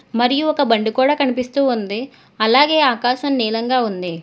మరియు ఒక బండి కూడా కనిపిస్తూ ఉంది అలాగే ఆకాశం నీలంగా ఉంది.